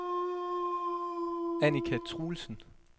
Annika Truelsen